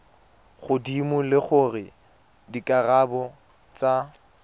godimo le gore dikarabo tsa